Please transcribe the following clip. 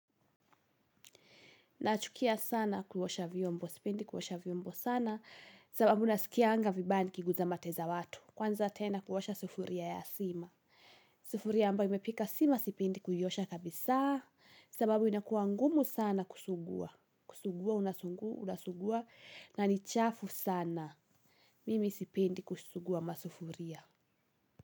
Nachukia sana kuosha vyombo, sipendi kuosha vyombo sana, sababu nasikianga vibaya nikiguza mate za watu. Kwanza tena kuosha sufuria ya sima sufuria ambayo imepika sima sipendi kuiosha kabisa, sababu inakuwa ngumu sana kusugua. Kusugua unasugua, na ni chafu sana. Mimi sipendi kusugua masufuria.